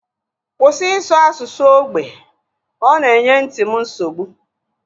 Kwụsị ịsụ asụsụ ógbè! Ọ na-enye nti m nsogbu